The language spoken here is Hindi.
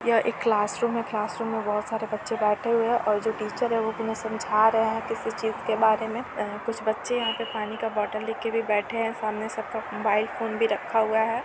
यह एक क्लासरूम है क्लासरूम में बोहत सारे बच्चे बैठे हुए है और जो टीचर है वो उन्हें समझा रहे है किसी चीज के बारे में। कुछ बच्चे यहाँ पे पानी का बोतल लेके भी बैठे है सामने सबका मोबाइल फ़ोन भी रखा हुआ है।